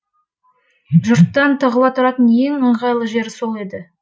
жұрттан тығыла тұратын ең ыңғайлы жер сол еді